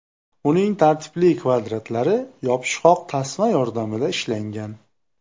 Uning tartibli kvadratlari yopishqoq tasma yordamida ishlangan.